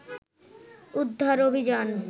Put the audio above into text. উদ্ধার অভিযান